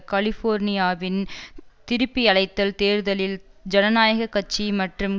கலிஃபோர்னியாவின் திருப்பியழைத்தல் தேர்தலில் ஜனநாயக கட்சி மற்றும்